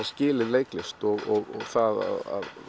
skilja leiklist og það